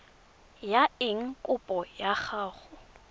ya eng kopo ya gago